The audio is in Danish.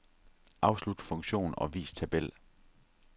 Afslut funktion og vis tabel.